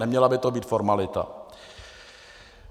Neměla by to být formalita.